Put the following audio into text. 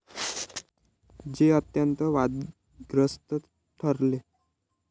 जे अत्यंत वादग्रस्त ठरले.